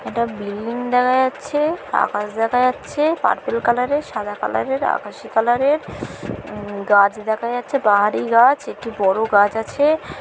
একটা বিল্ডিং দেখা যাচ্ছে-এ। আকাশ দেখা যাচ্ছে-এ। পার্পল কালার এর সাদা কালার এর আকাশী কালার এর উম গাছ দেখা যাচ্ছে বাহারি গাছ একটি বড় গাছ আছে।